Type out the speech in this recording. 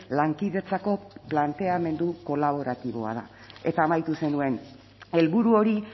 lankidetzako planteamendu kolaboratiboa da eta amaitu zenuen helburu hori